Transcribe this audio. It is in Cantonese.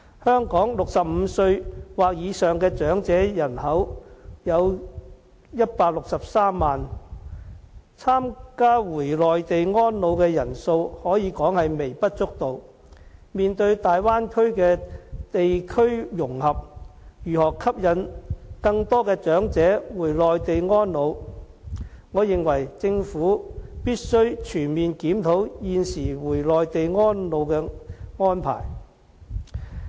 香港65歲或以上的長者人口有163萬人，參加回內地安老的人數可說是微不足道，面對大灣區的地區融合，如何吸引更多長者回內地安老，我認為政府必須全面檢討現時回內地安老的安排。